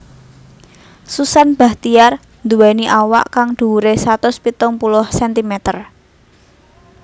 Susan Bachtiar nduwèni awak kang dhuwuré satus pitung puluh centimeter